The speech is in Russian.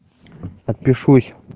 подпишусь